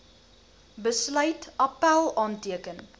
besluit appèl aanteken